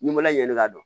Ni mɔla ɲɛni ka